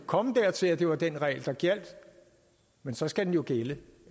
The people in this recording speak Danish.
komme dertil at det var den regel der gjaldt men så skal den jo gælde